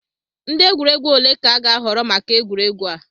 Ndị egwuregwu ole ka a ga-ahọrọ maka egwuregwu a?